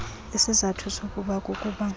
isizathu soku kukuba